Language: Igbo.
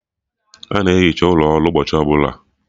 A na-ehicha ụlọ ọrụ ụbọchị ọbụla